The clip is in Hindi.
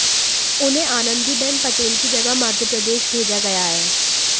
उन्हें आनंदीबेन पटेल की जगह मध्य प्रदेश भेजा गया है